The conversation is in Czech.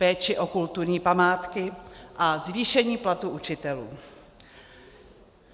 Péči o kulturní památky a zvýšení platů učitelů.